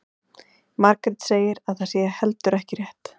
Margrét segir að það sé heldur ekki rétt.